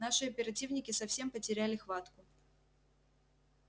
наши оперативники совсем потеряли хватку